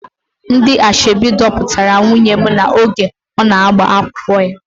Ndị asoebi dupụtara nwunye m oge ọ na-agba akwụkwọ ya.